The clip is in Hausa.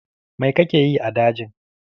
Mai kake yi a dajin?